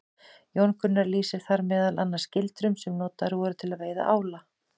Jón Gunnar lýsir þar meðal annars gildrum sem notaðar voru til að veiða ála.